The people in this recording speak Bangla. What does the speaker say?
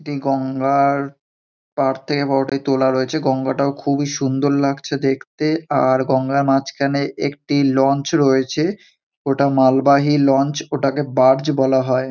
এটি গঙ্গা -র পার থেকে ওটিকে তোলা রয়েছে। গঙ্গা -টাও খুবই সুন্দর লাগছে দেখতে। আর গঙ্গা -র মাঝখানে একটি লঞ্চ রয়েছে। ওটা মালবাহী লঞ্চ ওটাকে বার্জ বলা হয়।